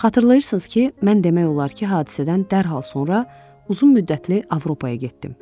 Xatırlayırsınız ki, mən demək olar ki, hadisədən dərhal sonra uzun müddətli Avropaya getdim.